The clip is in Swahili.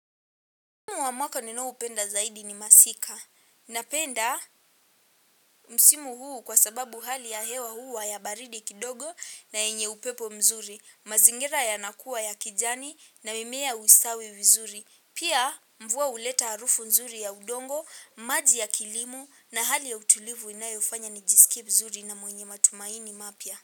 Msimu wa mwaka ninaoupenda zaidi ni masika. Napenda msimu huu kwa sababu hali ya hewa huwa ya baridi kidogo na yenye upepo mzuri. Mazingira yanakuwa ya kijani na mimea usawi vizuri. Pia mvua uleta arufu mzuri ya udongo, maji ya kilimu na hali ya utulivu inayofanya nijisikip mzuri na mwenye matumaini mapya.